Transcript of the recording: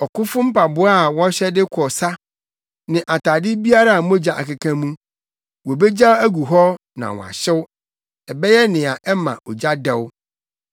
Ɔkofo mpaboa a wɔhyɛ de kɔ sa ne atade biara a mogya akeka mu, wobegyaw agu hɔ na wɔahyew; ɛbɛyɛ nea ɛma ogya dɛw.